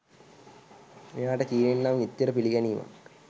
මෙයාට චීනෙන් නම් එච්චර පිළිගැනීමක්